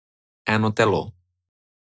Eno telo.